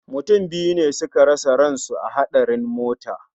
Mutum biyu ne suka rasa ransu a hatsarin mota